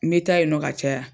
N bɛ taa yen nɔ ka caya.